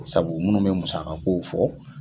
Sabu munnu bɛ musakakow fɔ